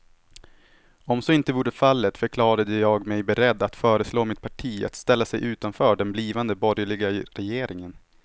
Om så inte vore fallet förklarade jag mig beredd att föreslå mitt parti att ställa sig utanför den blivande borgerliga regeringen.